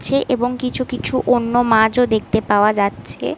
ছে এবং কিছু কিছু কোনো মাছ ও দেখতে পাওয়া যাচ্ছে ।